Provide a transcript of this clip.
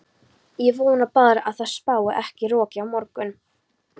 Ég vona bara að það spái ekki roki á morgun.